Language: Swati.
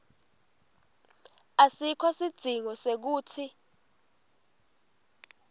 asikho sidzingo sekutsi